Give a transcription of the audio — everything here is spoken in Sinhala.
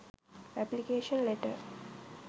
application letter